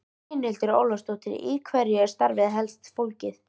Brynhildur Ólafsdóttir: Í hverju er starfið helst fólgið?